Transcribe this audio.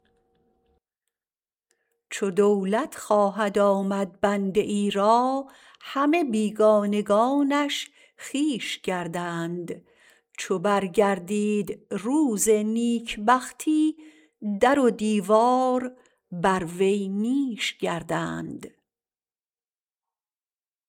چو دولت خواهد آمد بنده ای را همه بیگانگانش خویش گردند چو برگردید روز نیکبختی در و دیوار بر وی نیش گردند